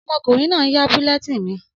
Ọmọkùnrin náà n yá bulletin mi